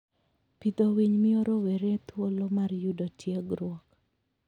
Pidho winy miyo rowere thuolo mar yudo tiegruok.